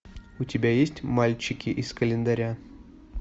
у тебя есть мальчики из календаря